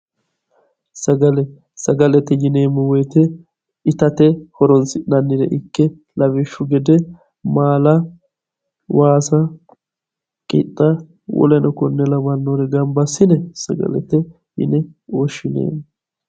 sagale sagalete yineemmo wote itate horonsi'neemmore ikke lawishshu gede maala waasa qixxa weleno konne lawannore gamba assine sagalete yine woshshinanni.